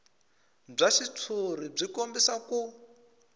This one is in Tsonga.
bya xitshuriwa byi kombisa ku